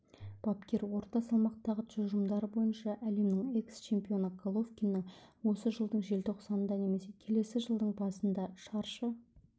бапкер орта салмақтағы тұжырымдары бойынша әлемнің экс-чемпионы головкиннің осы жылдың желтоқсанында немесе келесі жылдың басында шаршы